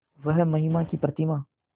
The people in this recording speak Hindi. वह महिमा की प्रतिमा